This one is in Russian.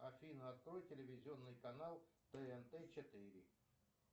афина открой телевизионный канал тнт четыре